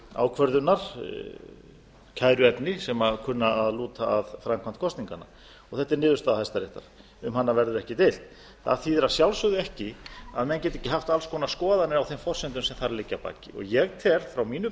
ákvörðunar kæruefni sem kunna að lúta að framkvæmd kosninganna þetta er niðurstaða hæstaréttar um hana verður ekki deilt það þýðir að sjálfsögðu ekki að menn geti ekki haft alls konar skoðanir á þeim forsendum sem þar liggja að baki ég tel frá mínum